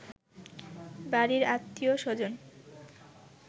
বাড়ির আত্মীয় স্বজন